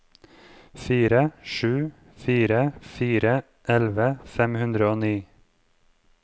fire sju fire fire elleve fem hundre og ni